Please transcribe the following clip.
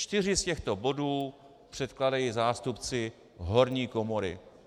Čtyři z těchto bodů předkládají zástupci horní komory.